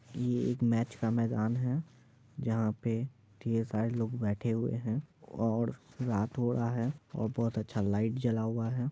ये एक मैच का मैदान है जहा पे ढेर सारे लोग बैठे हुए है और रात हो रहा है और बहुत अच्छा लाइट जला हुआ है।